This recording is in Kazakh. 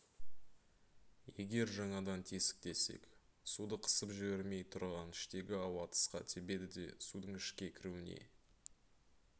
егер жаңадан тесік тессек суды қысып жібермей тұрған іштегі ауа тысқа тебеді де судың ішке кіруіне